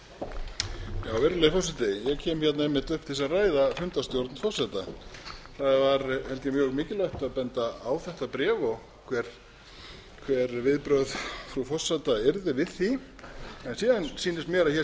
ég kem einmitt upp til að ræða fundarstjórn forseta það var held ég mjög mikilvægt að benda á þetta bréf og hver viðbrögð frú forseta yrðu við því en síðan sýnist mér að hér